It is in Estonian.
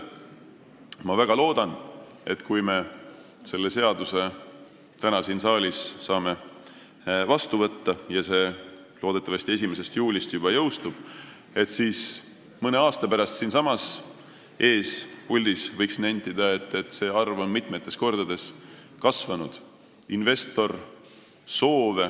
Ma väga loodan, et kui me selle seaduse täna siin saalis saame vastu võetud ja see loodetavasti 1. juulil juba jõustub, siis mõne aasta pärast võib siinsamas puldis nentida, et see arv on mitu korda kasvanud.